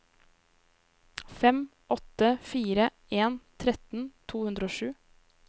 fem åtte fire en tretten to hundre og sju